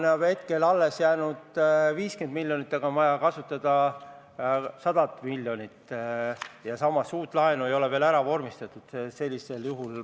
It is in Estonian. Seda on hetkel alles jäänud 50 miljonit, aga vaja oleks kasutada 100 miljonit, samas uut laenu ei ole veel ära vormistatud.